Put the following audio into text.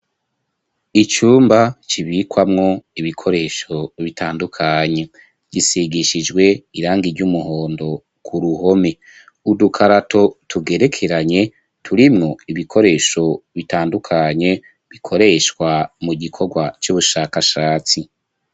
Icumba kibikwamwo ibikoresho bitandukanye gisigishijwe irangi ry'umuhondo ku ruhome .Udukarato tugerekeranye turimwo ibikoresho bitandukanye bikoreshwa mu gikorwa c'ubushakashatsi.